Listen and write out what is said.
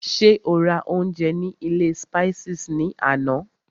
Ṣé o rà oúnjẹ ní ilé Spices ní àná?